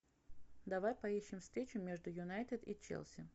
давай поищем встречу между юнайтед и челси